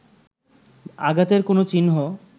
আঘাতের কোন চিহ্ন